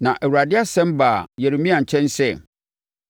Na Awurade asɛm baa Yeremia nkyɛn sɛ,